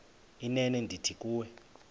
inene ndithi kuwe